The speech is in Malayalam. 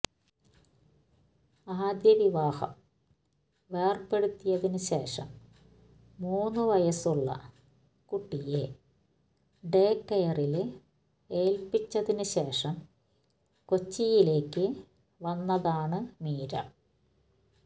ആദ്യ വിവാഹം വേര്പെടുത്തിയതിന് ശേഷം മൂന്ന് വയസ്സുള്ള കുട്ടിയെ ഡേകെയറില് ഏല്പ്പിച്ചതിന് ശേഷം കൊച്ചിയിലേക്ക് വന്നതാണ് മീര